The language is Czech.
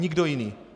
Nikdo jiný.